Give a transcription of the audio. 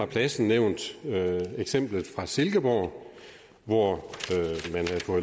plads nævnt eksemplet fra silkeborg hvor